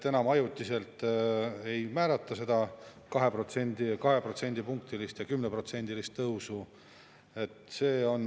Enam ajutiselt ei määrata seda 2% võrra ja 10%-list tõusu.